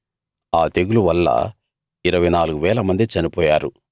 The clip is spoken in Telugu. ఆ తెగులు వల్ల 24 వేల మంది చనిపోయారు